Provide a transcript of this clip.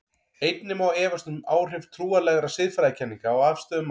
Einnig má efast um áhrif trúarlegra siðfræðikenninga á afstöðu manna til æxlunar og erfða.